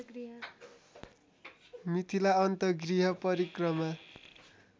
मिथिला अन्तगृह परिक्रमा